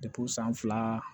san fila